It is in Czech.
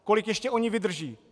Kolik ještě oni vydrží?